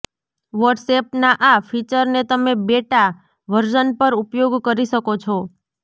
વોટ્સએપના આ ફીચરને તમે બેટા વર્ઝન પર ઉપયોગ કરી શકો છો